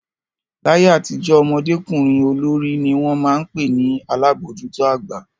Láyé àtijọ́, ọmọdékùnrin olórí ni wọ́n máa ń pè ní alabojuto àgbà.